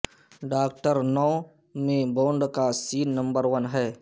doctor no میں Bond کا scene number one ہے